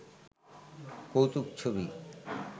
কৌতুক ছবি